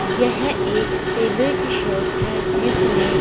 येह एक टेलर की शॉप है जिसमें--